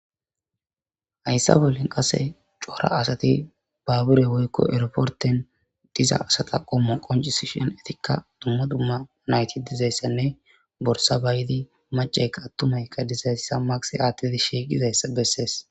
Hayssa bolli cora asati baabure woykko erportte diza asata qommo qonccisishin etikka dumma dumma nayti dozayssanne borssa bayidi maccayka attumaykka dizayssa makisee aattiidi shiiqizayssa bessees.